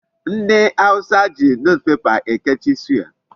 Ndị awụsa ji Newspaper ekechi suya.